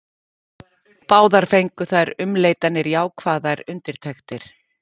Báðar fengu þær umleitanir jákvæðar undirtektir.